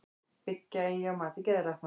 Byggja eigi á mati geðlækna